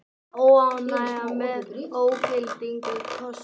Óánægja með ógildingu kosningar